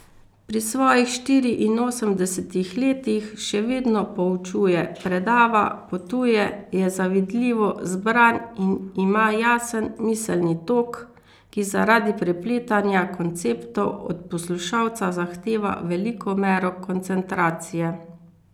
Pri svojih štiriinosemdesetih letih še vedno poučuje, predava, potuje, je zavidljivo zbran in ima jasen miselni tok, ki zaradi prepletanja konceptov od poslušalca zahteva veliko mero koncentracije.